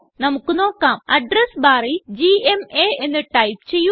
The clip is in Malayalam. നമുക്ക് നോക്കാം അഡ്രസ് barല് ജിഎംഎ എന്ന് ടൈപ്പ് ചെയ്യുക